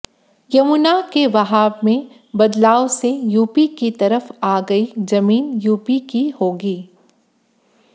यमुना के बहाव में बदलाव से यूपी की तरफ आ गई जमीन यूपी की होगी